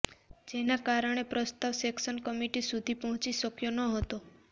જેના કારણે પ્રસ્તાવ સેક્શન કમિટી સુધી પહોંચી શક્યો નહતો